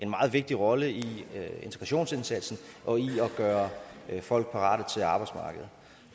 meget vigtig rolle i integrationsindsatsen og i at gøre folk parate til arbejdsmarkedet